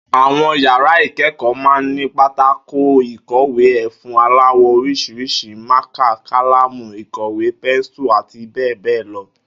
Àwo̩n yàrá ìké̩kò̩ó̩ máa ń ní pátákó ìkò̩wé, e̩fun aláwò̩ orís̩irís̩i, mákà, kálámù ìkò̩wé, pensu àti bé̩è̩ bé̩è̩ lo̩